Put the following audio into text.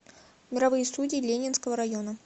мировые судьи ленинского района